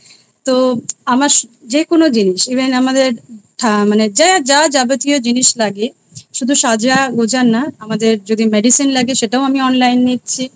তো আমার যেকোনো জিনিস Even আমাদের মানে যে যা যাবতীয় জিনিস লাগে শুধু সাজাগোজা নয় আমাদের যদি Medicine লাগে সেটাও আমি Online নিচ্ছি